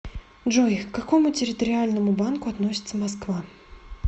джой к какому территориальному банку относится москва